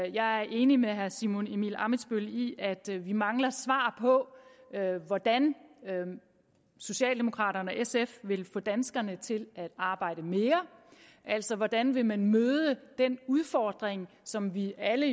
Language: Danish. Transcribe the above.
jeg er enig med herre simon emil ammitzbøll i at vi mangler svar på hvordan socialdemokraterne og sf vil få danskerne til at arbejde mere altså hvordan vil man møde den udfordring som vi alle